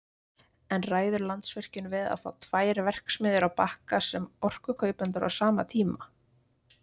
En ræður Landsvirkjun við að fá tvær verksmiðjur á Bakka sem orkukaupendur á sama tíma?